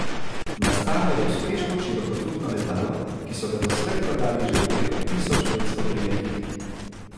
Nastalo je uspešno širokotrupno letalo, ki so ga doslej prodali že v preko tisoč petsto primerkih.